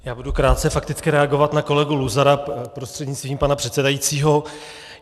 Já budu krátce fakticky reagovat na kolegu Luzara prostřednictvím pana předsedajícího.